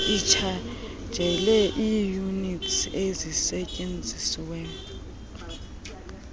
itshajele iiyunitsi ezisetyenzisiweyo